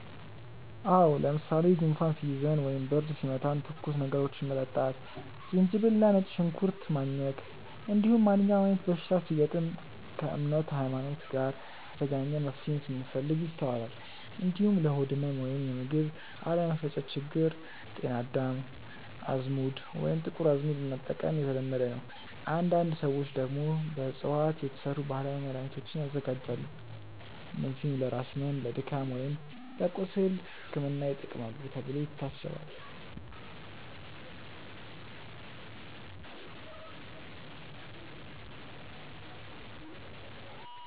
አዎ። ለምሳሌ ጉንፋን ሲይዘን ወይም ብርድ ሲመታን ትኩስ ነገሮችን መጠጣት፣ ዝንጅብል እና ነጭ ሽንኩርት ማኘክ፣ እንዲሁም ማንኛውም አይነት በሽታ ሲገጥም ከእምነት (ሀይማኖት) ጋር የተገናኘ መፍትሄን ስንፈልግ ይስተዋላል። እንዲሁም ለሆድ ህመም ወይም የምግብ አለመፈጨት ችግር ጤና አዳም፣ አዝሙድ ወይም ጥቁር አዝሙድ መጠቀም የተለመደ ነው። አንዳንድ ሰዎች ደግሞ በእፅዋት የተሰሩ ባህላዊ መድሃኒቶችን ያዘጋጃሉ፣ እነዚህም ለራስ ህመም፣ ለድካም ወይም ለቁስል ሕክምና ይጠቅማሉ ተብሎ ይታሰባል።